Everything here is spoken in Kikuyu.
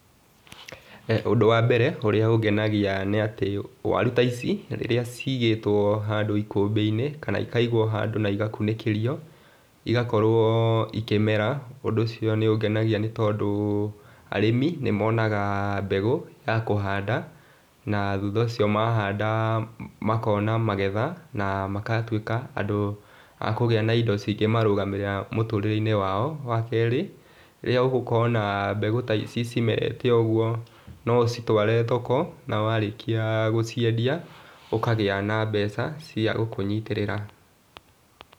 Ũndũ wa mbere, ũrĩa ũngenagia nĩ atĩ waru ta ici, rĩrĩa cigĩtwo handũ ikũmbĩ-inĩ, kana ikaigwo handũ na igakunĩkĩrio, igakorwo ikĩmera, ũndũ ũcio nĩ ũngenagia nĩ tondũ, arĩmi nĩ monaga mbegũ ya kũhanda, na thutha ũcio mahanda makona magetha, na makatuĩka andũ a kũgĩa na indo cingĩmarũgamĩrĩra mũtũrĩre-inĩ wao. Wa keerĩ, rĩrĩa, ũgũkorwo na mbegũ ta ici cimerete ũguo, no ũcitware thoko, na warĩkia gũciendia, ũkagĩa na mbeca, cia gũkũnyitĩrĩra.